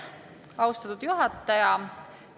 Austatud juhataja!